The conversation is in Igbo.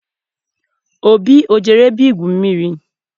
Obi ejere ebe igwu mmiri?